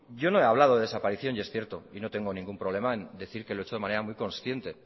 yo no he hablado de desaparición y es cierto y no tengo ningún problema en decir que lo he hecho de manera muy consciente